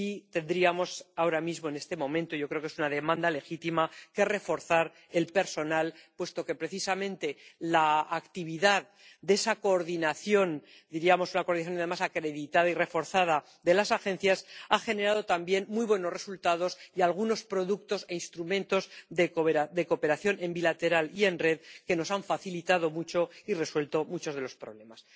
Tendríamos ahora mismo ―en este momento, yo creo que es una demanda legítima― que reforzar su personal, puesto que precisamente la actividad de esa coordinación ―una coordinación, además, acreditada y reforzada― de las agencias ha generado también muy buenos resultados y algunos productos e instrumentos de cooperación bilateral y en red que nos han facilitado mucho la labor y resuelto muchos de los problemas.